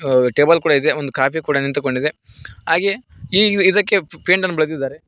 ಅ table ಕೂಡ ಇದೆ ಒಂದು ಕಾಫಿ ಕೂಡ ನಿಂತುಕೊಡಿದೆ ಹಾಗೆ ಈ ಇದಕ್ಕೆ ಪೇಂಟ್ ಅನ್ನು ಬಳೇದಿದ್ದಾರೆ.